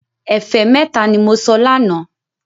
Ẹ̀fẹ́ mẹ́ta ní mo sọ lánàá